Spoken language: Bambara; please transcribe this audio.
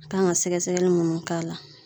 A kan ga sɛgɛsɛgɛli munnu k'a la